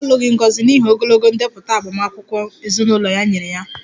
Obi alụghị Ngozi n'ihi ogologo ndepụta agbamakwụkwọ ezinụlọ ya nyere ya